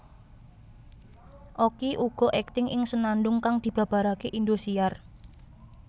Okky uga akting ing Senandung kang dibabarake Indosiar